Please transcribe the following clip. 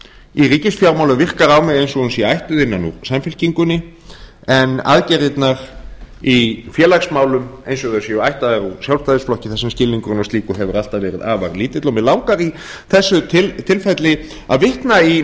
í ríkisfjármálum virkar á mig eins og hún sé ættuð innan úr samfylkingunni en aðgerðirnar í félagsmálum eins og þær séu ættaðar úr sjálfstæðisflokknum þar sem skilningurinn á slíku hefur alltaf verið afar lítill mig langar í þessu tilfelli að vitna í